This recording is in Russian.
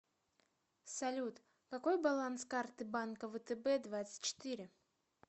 салют какой баланс карты банка втб двадцать четыре